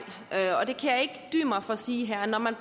og for at sige her når man